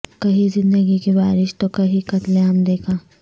کہیں زندگی کی بارش تو کہیں قتل عام دیکھا